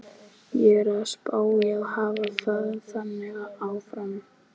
Ég er að spá í að hafa það þannig áfram.